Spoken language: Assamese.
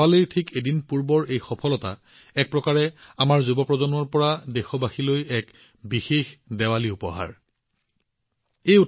দেৱালীৰ ঠিক এদিন আগতে এই সফলতা অৰ্জন কৰা হৈছে এক প্ৰকাৰে ই আমাৰ যুৱপ্ৰজন্মৰ পৰা দেশলৈ এক বিশেষ দেৱালী উপহাৰ হিচাপে বিবেচিত হৈছে